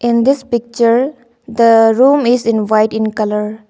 in this picture the room is in white in colour.